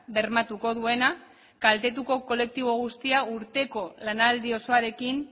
bermatuko duena kaltetutako kolektibo guztia urteko lan aldi osoarekin